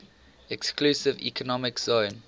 exclusive economic zone